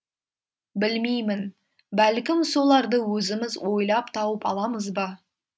білмеймін бәлкім соларды өзіміз ойлап тауып аламыз ба